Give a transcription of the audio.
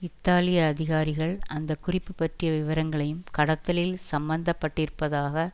இத்தாலிய அதிகாரிகள் அந்த குறிப்பு பற்றிய விவரங்களையும் கடத்தலில் சம்மந்த பட்டிருப்பதாக